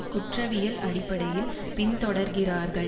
குற்றவியல் அடிப்படையில் பின்தொடர்கிறார்கள்